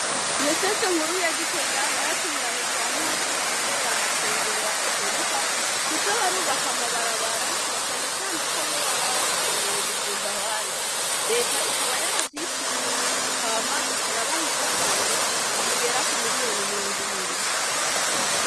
Diyoseze nkuru ya gitega yaratunganije ahantu hose hatumbereye amashengero ya katorika kuza barubaka amabarabara nacanecane ko bo baba bahakeneye gusumba abandi. Reta ikaba yaravyishimiye hama ic'irabaha imfashanyo zigera kumiriyoni mirong'ibiri.